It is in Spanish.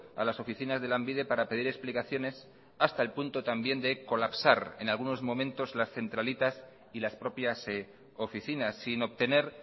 a las oficinas de lanbide para pedir explicaciones hasta el punto también de colapsar en algunos momentos las centralitas y las propias oficinas sin obtener